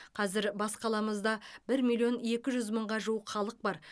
қазір бас қаламызда бір миллион екі жүз мыңға жуық халық бар